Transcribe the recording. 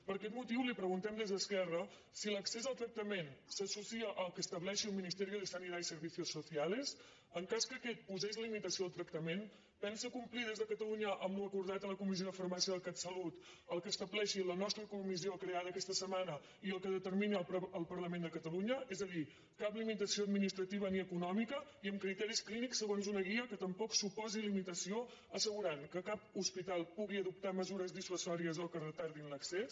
per aquest motiu li preguntem des d’esquerra si l’accés al tractament s’associa al que estableixi el ministerio de sanidad y servicios sociales en cas que aquest po·sés limitació al tractament pensa complir des de ca·talunya amb l’acordat a la comissió de farmàcia del catsalut el que estableixi la nostra comissió creada aquesta setmana i el que determini el parlament de catalunya és a dir cap limitació administrativa i eco·nòmica i amb criteris clínics segons una guia que tam·poc suposi limitació assegurant que cap hospital pugui adoptar mesures dissuasòries o que retardin l’accés